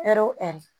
Ɛri o ɛri